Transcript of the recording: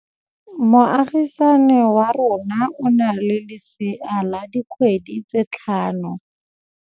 Moagisane wa rona o na le lesea la dikgwedi tse tlhano.